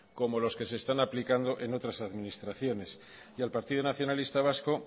como los que se están aplicando en otras administraciones y al partido nacionalista vasco